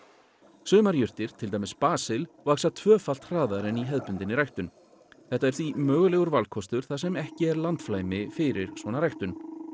sumar jurtir til dæmis basil vaxa tvöfalt hraðar en í hefðbundinni ræktun þetta er því mögulegur valkostur þar sem ekki er landflæmi fyrir svona ræktun